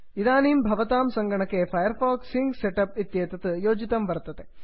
इदानीं भवतां सङ्गणके Firefox sync set up इत्येतत् योजितं वर्तते